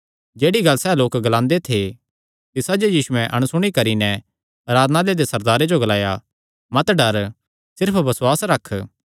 जेह्ड़ी गल्ल सैह़ लोक ग्लांदे थे तिसा जो यीशुयैं अणसुणी करी नैं आराधनालय दे सरदारे जो ग्लाया मत डर सिर्फ बसुआस रख